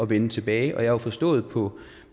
vende tilbage og jeg har jo forstået på